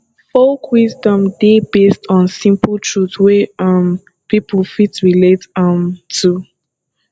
folk wisdom dey based on simple truth wey um pipo fit relate um to